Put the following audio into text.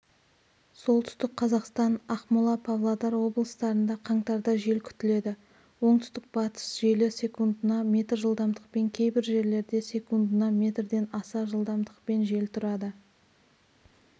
солтүстік қазақстан ақмола павлодар облыстарында қаңтарда жел күтіледі оңтүстік-батыс желі секундына метр жылдамдықпен кейбір жерлерде секундына метрден аса жылдамдықпен жел тұрады